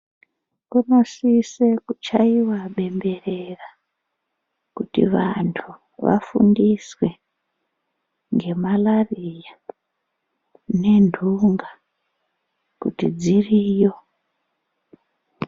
Kunosise kuchaiwa bemberera, kuti vantu vafundiswe ngemalariya nendunga kuti dziriyo.